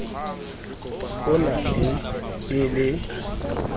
ho na le e le